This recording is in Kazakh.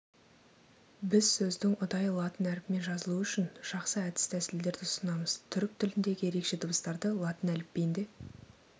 біз сөздің ұдайы латын әрпімен жазылуы үшін жақсы әдіс-тәсілдерді ұсынамыз түрік тіліндегі ерекше дыбыстарды латын әліпбиінде